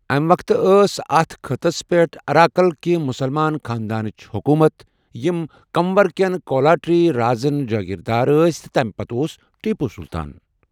امہِ وقتہٕ ٲس اتھ خٕطس پٮ۪ٹھ اراکل کہ مسلمان خانٛدانٕچ حکوٗمَت یِم کننور کٮ۪ن کولاٹری رازن جٲگیر دار ٲسۍ تہ تمہِ پتہٕ اوس ٹیپو سلطان۔